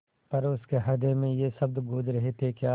पर उसके हृदय में ये शब्द गूँज रहे थेक्या